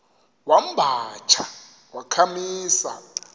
wamba tsha wakhamisa